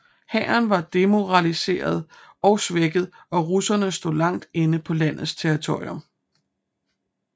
Hæren var demoraliseret og svækket og russerne stod langt inde på landets territorium